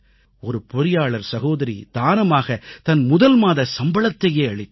ஒரு பொறியாளர் சகோதரி தானமாகத் தன் முதல்மாத சம்பளத்தையே அளித்தார்